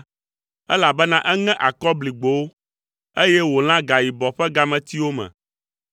elabena eŋe akɔbligbowo, eye wòlã gayibɔ ƒe gametiwo me.